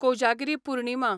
Kojagiri Purnima